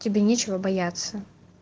тебе нечего бояться